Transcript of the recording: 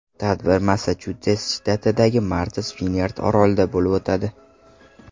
Tadbir Massachusets shtatidagi Martas-Vinyard orolida bo‘lib o‘tadi.